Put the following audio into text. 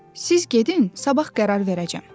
Siz gedin, sabah qərar verəcəm.”